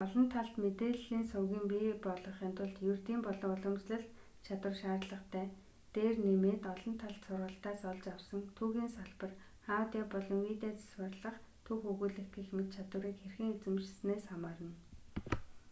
олон талд мэдээлэлийн сувгийн бий болгохын тулд ердийн болон уламжлалт чадвар шаардлагатай дээр нэмээд олон талт сургалтаас олж авсан түүхийн сабар аудио болон видео засварлах түүх өгүүлэх гэх мэт чадварыг хэрхэн эзэмшисэнээс хамаарна